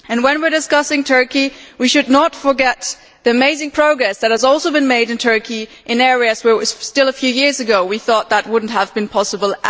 When we are discussing Turkey, we should not forget the amazing progress that has also been made in Turkey in areas where, a few years ago, we thought would not ever have been possible.